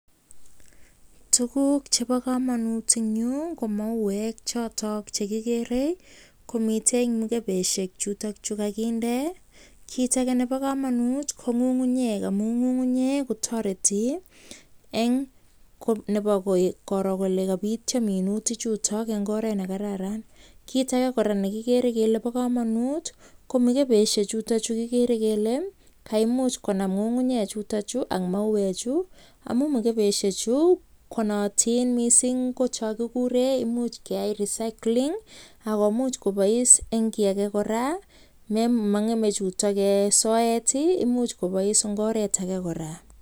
Tuguk chebo komonut en yu, ko mauwek che kigeeere komiten mugebeishek chuto chukoginde. Kit age nebo komonut ko ng'ung'unyek amun ng'ung'unyek kotoreti nebo koroo kobityo minutichuto en ngoret ne kararan. Kit age kora ne kigeere kele bo komonut ko mugebeishechuto chu kigeere kele kaimuch konam ng'ung'unyek chuto chu ak mauwek chu amun mugebeisgeju konooitin mising kochon kiguure imuch keyai recycling ak komuch kobois en kiy age kora, mong'em chuto soet, imuch kobois en ng'oret age kora.